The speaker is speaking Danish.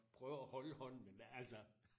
Prøver at holde hånden men altså